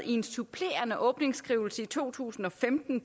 i en supplerende åbningsskrivelse fra to tusind og femten